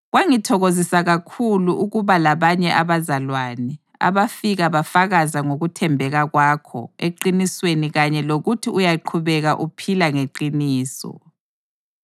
Kwangithokozisa kakhulu ukuba labanye abazalwane abafika bafakaza ngokuthembeka kwakho eqinisweni kanye lokuthi uyaqhubeka uphila ngeqiniso.